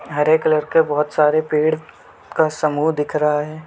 हरे colour के बहुत सारे पेड़ का समहू दिख रहा हैं।